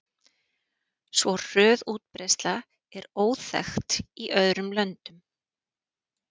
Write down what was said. Svo hröð útbreiðsla er óþekkt í öðrum löndum.